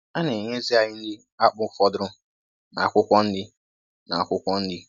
A na-enye ezì anyị nri akpụ fọdụrụ na akwụkwọ nri. na akwụkwọ nri.